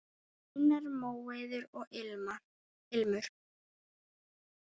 Þínar, Móeiður og Ilmur.